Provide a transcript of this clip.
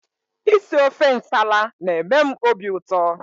Isi ofe nsala na-eme m obiụtọ